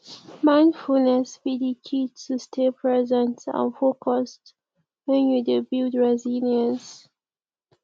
mindfulness be di key to stay present and focused when you dey build resilience